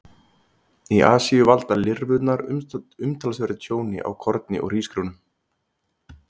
Í Asíu valda lirfurnar umtalsverðu tjóni á korni og hrísgrjónum.